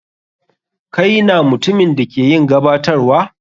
Kai na mutumin da ke yin gabatarwa?